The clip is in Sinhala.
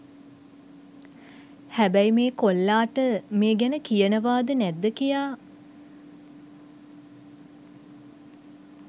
හැබැයි මේ කොල්ලාට මේ ගැන කියනවා ද නැද්ද කියා